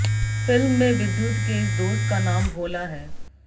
film में विद्युत के इस दोस्त का नाम भोला है